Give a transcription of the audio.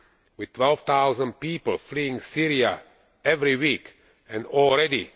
With 12000 people fleeing Syria every week and already